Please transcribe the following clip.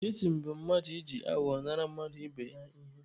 Shitin bụ mmadụ iji aghụghọ nara mmadụ ibe ya ihe.